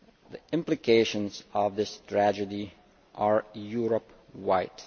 The implications of this tragedy are Europe wide.